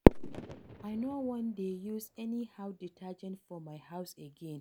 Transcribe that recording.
I no wan dey use anyhow detergent for my house again